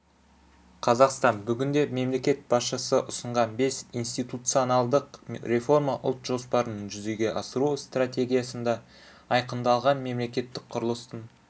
қазақстан бүгінде мемлекет басшысы ұсынған бес институционалдық реформа ұлт жоспарының жүзеге асыру стратегиясында айқындалған мемлекеттік құрылыстың